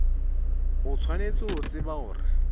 o tshwanetse ho tseba hore